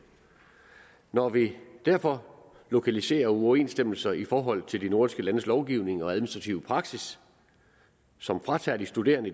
når vi derfor lokaliserer uoverensstemmelser i forhold til de nordiske landes lovgivning og administrative praksis som fratager de studerende